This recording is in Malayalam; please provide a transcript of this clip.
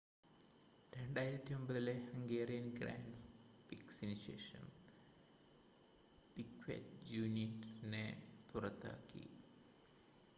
2009-ലെ ഹംഗേറിയൻ ഗ്രാൻഡ് പ്രിക്‌സിന് ശേഷം പിക്വെറ്റ് ജൂനിയറിനെ പുറത്താക്കി